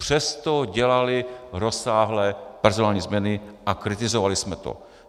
Přesto dělali rozsáhlé personální změny a kritizovali jsme to.